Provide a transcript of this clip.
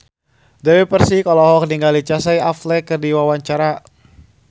Dewi Persik olohok ningali Casey Affleck keur diwawancara